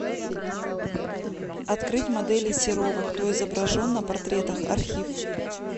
открыть моделей серова кто изображен на портретах архив